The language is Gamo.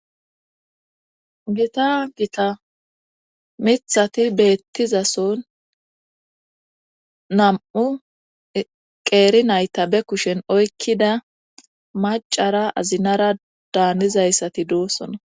gita gita mithati beettizason nam'u qeeri nayta be kushen oykkida macara azinara daannizayssati doosona